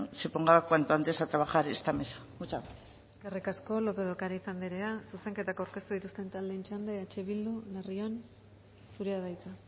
se ponga cuanto antes a trabajar esta mesa muchas gracias eskerrik asko lópez de ocariz anderea zuzenketak aurkeztu dituzten taldeen txanda eh bildu larrion zurea da hitza